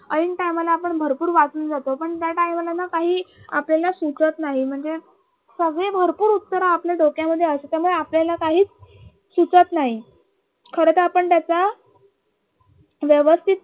ऐन time ला आपण भरपूर वाचून जातो पण त्या time ला ना काहीही आपल्याला सूचत नाही म्हणजे सगळे भरपूर उत्तर आपल्या डोक्यामध्ये असतात त्यामुळे आपल्याला काहीच सुचत नाही. खरतर आपण त्याचा व्यवस्थित